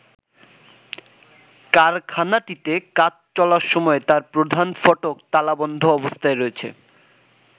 কারখানাটিতে কাজ চলার সময় তার প্রধান ফটক তালাবন্ধ অবস্থায় রয়েছে।